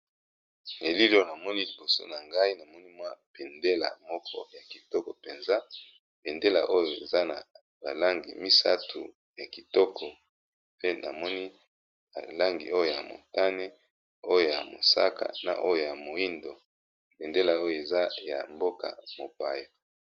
Elili oyo namoni liboso nangai namoni bendele ya moko kitoko penza eza na ba langi misatu pe namoni langi ya oyo motani, mosaka, moyindo eza ya mboka mopaya.